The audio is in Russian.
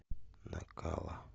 накала